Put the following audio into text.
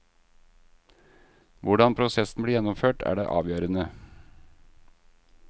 Hvordan prosessen blir gjennomført, er det avgjørende.